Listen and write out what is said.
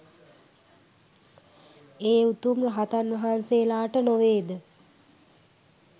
ඒ උතුම් රහතන් වහන්සේලාට නොවේද?